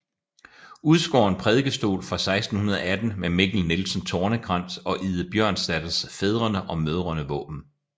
Udskåren prædikestol fra 1618 med Mikkel Nielsen Tornekrans og Ide Bjørnsdatters fædrene og mødrene våben